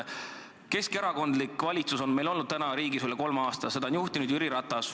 Keskerakondlik valitsus on meie riigis valitsenud üle kolme aasta, seda on juhtinud Jüri Ratas.